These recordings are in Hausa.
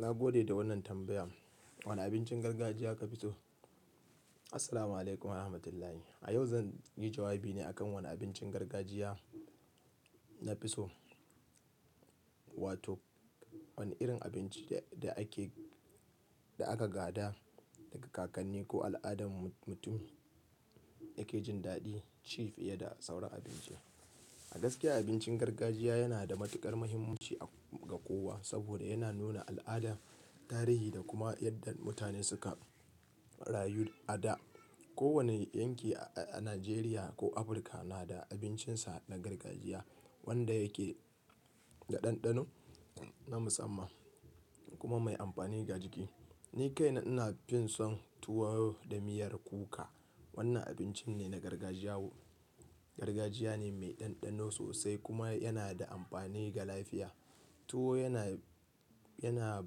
Na gode da wannan tambaya. Wane abincin gargajiya ka fi so? Assalamualaikum warahmatullahi. A yau zan yi jawabi ne akan wane abincin gargajiya na fi so. Wato wane irin abinci da ake-- da aka gada daga kakanni ko al'adar mutum yake jin daɗin shi fiye da sauran abinci. A gaskiya abincin gargajiya yana da matuƙar muhimmanci ga kowa saboda yana nuna al'ada, tarihi da kuma yadda mutane suka rayu a da. Kowane yanki a Najeriya ko Afirka na da abincinsa na gargajiya wanda yake da ɗanɗano na musamman kuma mai amfani a jiki. Ni kaina ina fin son tuwo da miyar kuka. Wannan abinci ne na gargajiya. Gargajiya ne mai ɗanɗano sosai kuma yana da amfani ga lafiya. Tuwo yana, yana,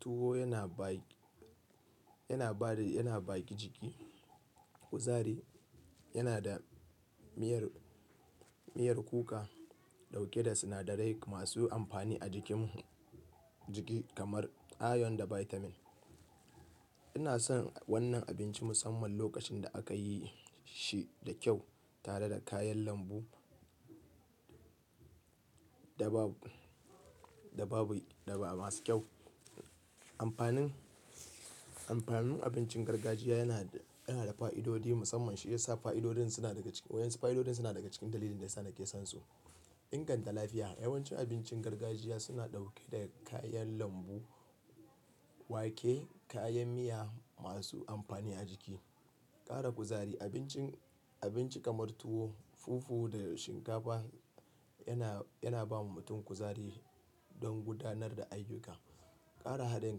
tuwo yana baƙi, yana bada, yana baƙi jiki, kuzari. Yana da miyar, miyar kuka ɗauke da sinadarai masu amfani a jikin mu-- jiki kamar iron da vitamin. Ina son wannan abinci musamman lokacin da aka yi shi da kyau tare da kayan lambu da babu, da ba-ba masu kyau. Amfanin, amfanin abincin gargajiya yana, yana da fa'idodi musamman shi ya sa fa'idodin suna daga cikin-- wa yanzu fa'idodin suna daga cikin dalilin da yasa nake son su. Inganta lafiya. Yawanci abincin gargajiya suna ɗauke da kayan lambu, wake, kayan miya masu amfani a jiki. Ara kuzari. Abincin, abinci kamar tuwo, fufu da shinkafa yana, yana ba mutum kuzari don gudanar da ayyuka. Ƙara haɗin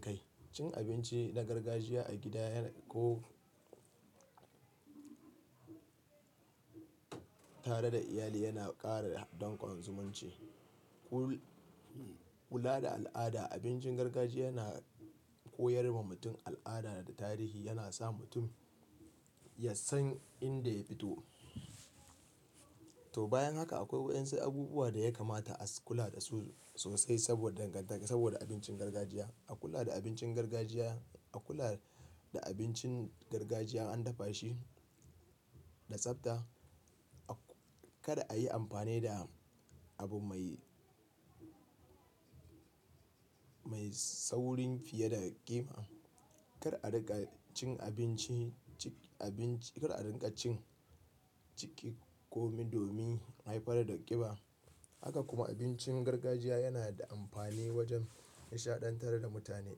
kai. Cin abinci na gargajiya a gida yana-- ko tare da iyali yana ƙara danƙon zumunci. Ku-kula da al'ada. Abincin gargajiya yana koyar ma mutum al'ada da tarihi. Yana sa mutum ya san inda ya fito. To bayan haka akwai wa yanzu abubuwa da ya kamata a kula da su sosai saboda dangantaka, saboda abincin gargajiya. A kula da abincin gargajiya, a kula da abincin gargajiya an dafa shi da tsafta. Kada a yi amfani da abu mai, mai saurin fiye da ƙima. Kar a riƙa cin abinci, ci abinci-- kada a riƙa cin ciki kome domin haifar da ƙiba. Haka kuma abincin gargajiya yana da amfani wajen nishaɗantar da mutane.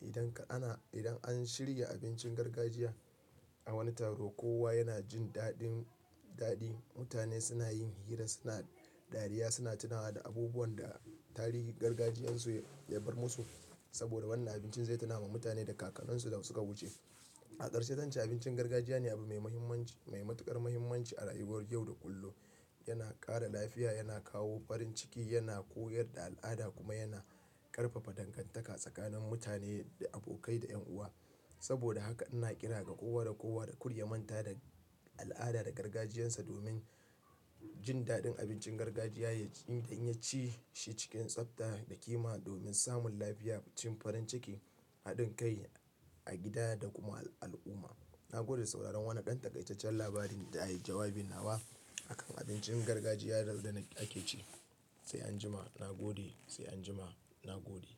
Idan ana-- idan an shirya abincin gargajiya a wani taro, kowa yana jin daɗin daɗi. Mutane suna yin hira, suna dariya, suna tunawa da abubuwan da tarihin gargajiyarsu ya bar musu. Saboda wannan abincin zai tuna wa mutane da kakanninsu da suka wuce. A ƙarshe, tanci abincin gargajiya ne abu mai muhimmanci, mai matuƙar muhimmanci a rayuwar yau da kullum. Yana ƙara lafiya, yana kawo farin ciki, yana koyar da al'ada kuma yana ƙarfafa dangantaka tsakanin mutane, da abokai da 'yan uwa. Saboda haka ina ƙira ga kowa da kowa da karya manta da al'ada da gargajiyarsa domin jin daɗin abincin gargajiya, inda in ya ci shi cikin tsafta da ƙima domin samun lafiya, cin farin ciki, haɗin kai a gida da kuma al'umma. Na gode sauraron wannan ƙan-taƙaicecen labarin da ya yi jawabin nawa akan abincin gargajiya. Yanzu da na ƙi ce sai anjima na gode, sai anjima na gode.